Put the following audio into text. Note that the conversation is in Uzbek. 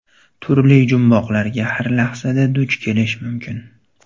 Turli jumboqlarga har lahzada duch kelish mumkin.